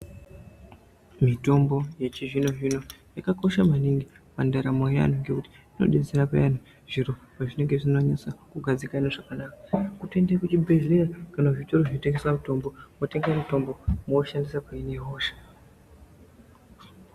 Mitombo yechizvino-zvino yakakosha maningi pandaramo yevantu ngekuti inobetsera payani zviro pazvinonga zvisina kunyatsa kugadzikana zvakanaka. Kutoende kuzvibhedhleya kana kuzvitoro zvinotengeswa mitombo vototenga mutombo moushandisa kuhina hosha.